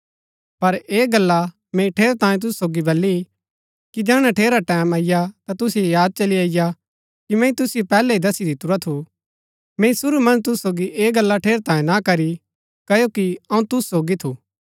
पर ऐह गल्ला मैंई ठेरैतांये तुसु सोगी बली कि जैहणै ठेरा टैमं अईआ ता तुसिओ याद चली अईआ कि मैंई तुसिओ पैहलै ही दस्सी दितुरा थू मैंई शुरू मन्ज तुसु सोगी ऐह गल्ला ठेरैतांये ना करी क्ओकि अऊँ तुसु सोगी थू